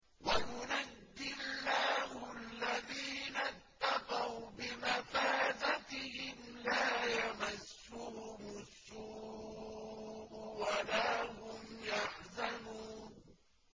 وَيُنَجِّي اللَّهُ الَّذِينَ اتَّقَوْا بِمَفَازَتِهِمْ لَا يَمَسُّهُمُ السُّوءُ وَلَا هُمْ يَحْزَنُونَ